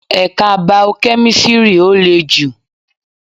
Ẹ̀ka bao-kẹ́mísri ó lè jù